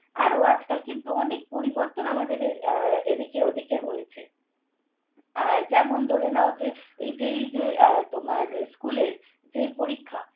আরো আজকাল কিন্তু অনেক পরিবর্তন আমাদের আহ এদিকে ওদিকে হয়েছে। আহ যেমন ধরে নাও যে, এই যে এই যে তোমার স্কুলের যে পরীক্ষা